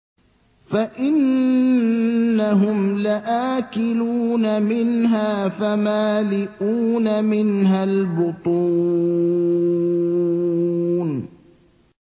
فَإِنَّهُمْ لَآكِلُونَ مِنْهَا فَمَالِئُونَ مِنْهَا الْبُطُونَ